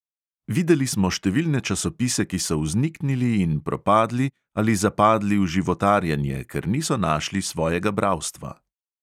Videli smo številne časopise, ki so vzniknili in propadli ali zapadli v životarjenje, ker niso našli svojega bralstva.